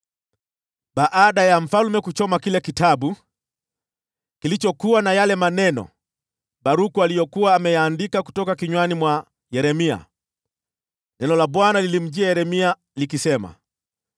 Baada ya mfalme kuchoma kile kitabu kilichokuwa na yale maneno Baruku aliyokuwa ameyaandika kutoka kinywani mwa Yeremia, neno la Bwana lilimjia Yeremia likisema: